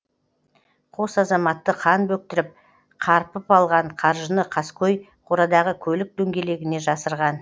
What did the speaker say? қос азаматты қан бөктіріп қарпып алған қаржыны қаскөй қорадағы көлік дөңгелегіне жасырған